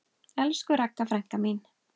Elsku Ragga frænka mín.